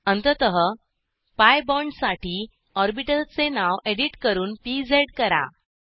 अंततः PI bond साठी ऑर्बिटलचे नाव एडिट करून पीएझ करा